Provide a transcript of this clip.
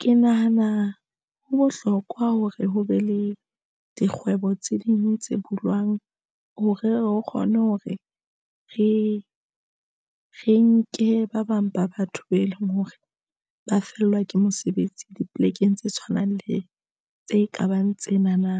Ke nahana ho bohlokwa hore ho be le dikgwebo tse ding tse bulwang hore re kgone hore re e re nke ba bang ba batho be leng hore ba fellwa ke mesebetsi dipolekeng tse tshwanang le tse kabang tsena na.